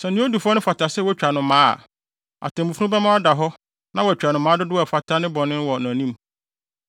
Sɛ nea odi fɔ no fata sɛ wotwa no mmaa a, atemmufo no bɛma no ada hɔ na wɔatwa no mmaa dodow a ɛfata ne bɔne no wɔ nʼanim.